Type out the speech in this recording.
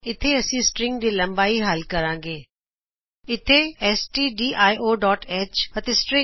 ਇਥੇ ਅਸੀਂ ਸ੍ਟ੍ਰਿੰਗ ਦੀ ਲੰਬਾਈ ਹਲ ਕਰਾਂਗੇ ਇਹ stdioਹ ਅਤੇ stringਹ